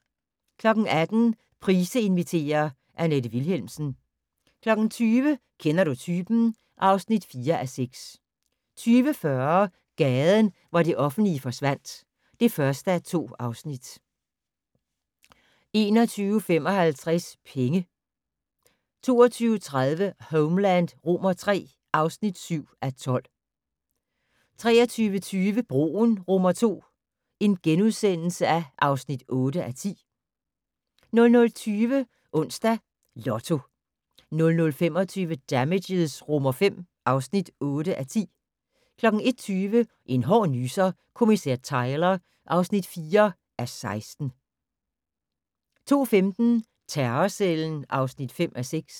18:00: Price inviterer - Annette Vilhelmsen 20:00: Kender du typen? (4:6) 20:40: Gaden, hvor det offentlige forsvandt (1:2) 21:55: Penge 22:30: Homeland III (7:12) 23:20: Broen II (8:10)* 00:20: Onsdags Lotto 00:25: Damages V (8:10) 01:20: En hård nyser: Kommissær Tyler (4:16) 02:15: Terrorcellen (5:6)